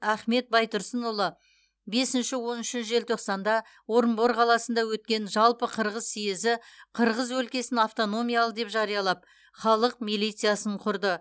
ахмет байтұрсынұлы бесінші он үші желтоқсанда орынбор қаласында өткен жалпықырғыз сиезі қырғыз өлкесін автономиялы деп жариялап халық милициясын құрды